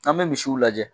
An bɛ misiw lajɛ